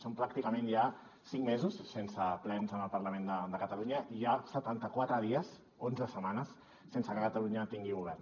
són pràcticament ja cinc mesos sense plens en el parlament de catalunya i ja setanta quatre dies onze setmanes sense que catalunya tingui govern